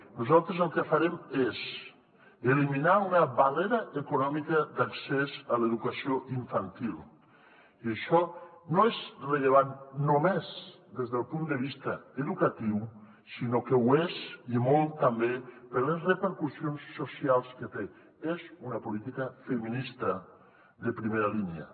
nosaltres el que farem és eliminar una barrera econòmica d’accés a l’educació infantil i això no és rellevant només des del punt de vista educatiu sinó que ho és i molt també per les repercussions socials que té és una política feminista de primera línia